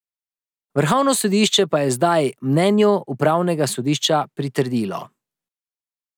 Vrhovno sodišče pa je zdaj mnenju upravnega sodišča pritrdilo.